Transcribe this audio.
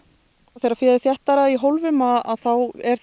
þegar féð er þéttara í hólfum þá er